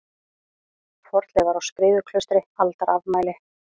Fornleifar á Skriðuklaustri Aldarafmæli.